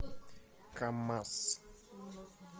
камаз